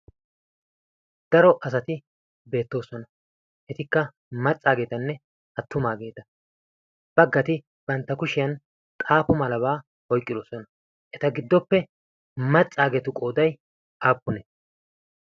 daro asati beettoosona etikka maccaageetanne attumaageeta baggati bantta kushiyan xaafo malabaa oyqqidosona eta giddoppe maccaageetu qooday appunee?